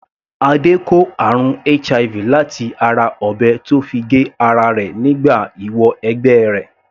Adé kó àrùn HIV láti ara ọ̀bẹ tó fi gé ara rẹ̀ nígbà ìwọ - ẹgbẹ́ rẹ̀.